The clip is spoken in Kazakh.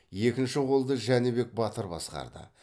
екінші қолды жәнібек батыр басқарды